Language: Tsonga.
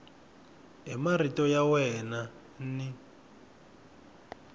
hi marito ya wena n